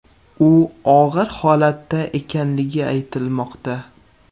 U og‘ir holatda ekanligi aytilmoqda.